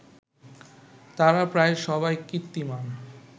তাঁরা প্রায় সবাই কীর্তিমান